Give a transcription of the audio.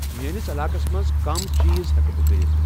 میٲنِس علاقَس منٛز کَم چیٖز ہٮ۪کہٕ بہٕ کٔرِتھ